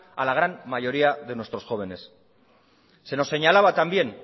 a la gran mayoría de nuestros jóvenes se nos señalaba también